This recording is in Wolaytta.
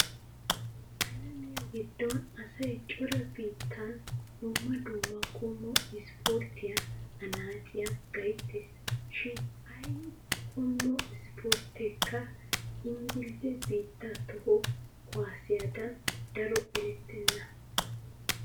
Alamiua giddon asay cora biittan dumma dumma qommo ispporttiya annaaciya gayttees. Shin ay qommo ispportteekka inggilzze biittaa toho kuwaassiyadan daro erettenna.